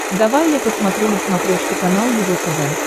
давай я посмотрю на смотрешке канал его тв